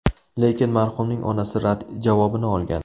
Lekin marhumning onasi rad javobini olgan.